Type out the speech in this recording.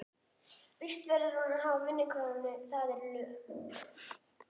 Vist verður hún að hafa, vinnukonan, það eru lög.